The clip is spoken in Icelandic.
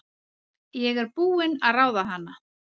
Ég er búin að ráða hana!